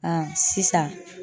sisan.